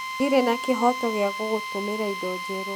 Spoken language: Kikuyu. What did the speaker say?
Ndirĩ na kĩhooto gĩa gũgũtũmĩra indo njerũ